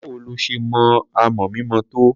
Báwo lo ṣe mọ amọ̀ mímọ tó?